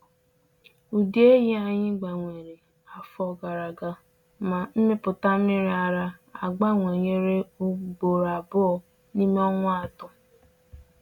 Ụdị ehi anyị gbanwere afọ gara aga, ma mmịpụta nmiri ara abawanyere ugboro abụọ n’ime ọnwa atọ.